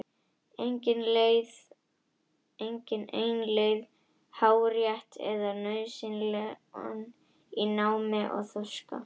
Engin ein leið er hárrétt eða nauðsynleg í námi og þroska.